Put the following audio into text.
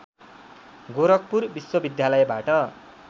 गोरखपुर विश्वविद्यालयबाट